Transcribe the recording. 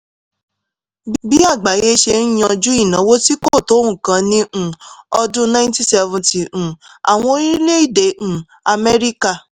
bí àgbáyé ṣe ń yanjú ìnáwó tí kò tó nǹkan ní um ọdún 1970 um àwọn orílẹ̀-èdè um amẹ́ríkà